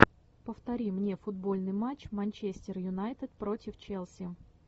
повтори мне футбольный матч манчестер юнайтед против челси